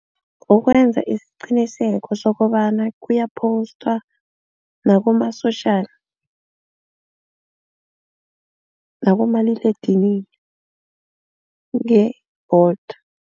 Ukwenza isiqiniseko sokobana kuyaphostwa nakuma-social nakumaliledinini nge-Bolt.